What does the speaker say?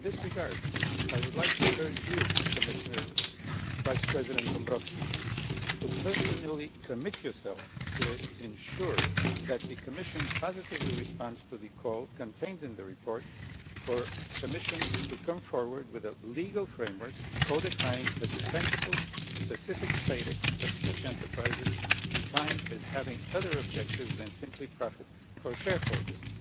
In this regard, I would like to urge Commission Vice President Dombrovskis to personally commit himself to ensuring that the Commission responds positively to the call, contained in the report, for the Commission to come forward with a legal framework codifying a dependable specific status for such enterprises, defined as having other objectives than simply profit for shareholders